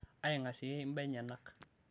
aingasieyie imbaa enyenak